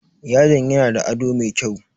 Yadin yana da ado mai kyau.